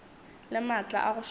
le maatla a go šoma